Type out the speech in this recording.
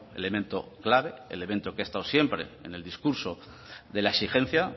elemento clave elemento que ha estado siempre en el discurso de la exigencia